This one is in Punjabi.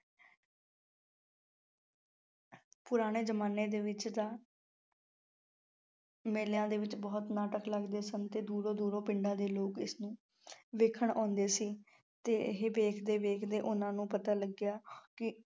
ਪੁਰਾਣੇ ਜਮਾਨੇ ਦੇ ਵਿੱਚ ਤਾਂ ਮੇਲਿਆਂ ਦੇ ਵਿੱਚ ਬਹੁਤ ਨਾਟਕ ਲੱਗਦੇ ਸਨ ਤੇ ਦੂਰੋਂ ਦੂਰੋਂ ਪਿੰਡਾਂ ਦੇ ਲੋਕ ਇਸਨੂੰ ਵੇਖਣ ਆਉਂਦੇ ਸੀ ਤੇ ਇਹ ਵੇਖਦੇ ਵੇਖਦੇ ਉਹਨਾਂ ਨੂੰ ਪਤਾ ਲੱਗਿਆ ਕਿ